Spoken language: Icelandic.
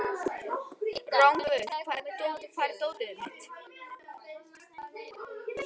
Rongvuð, hvar er dótið mitt?